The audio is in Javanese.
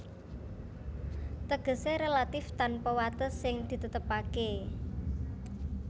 Tegesé relatif tanpa wates sing ditetepaké